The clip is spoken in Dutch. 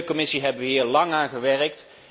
Als Milieucommissie hebben we hier lang aan gewerkt.